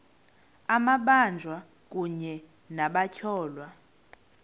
amabanjwa kunye nabatyholwa